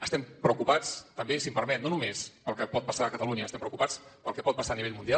estem preocupats també si m’ho permet no només pel que pot passar a catalunya estem preocupats pel que pot passar a nivell mundial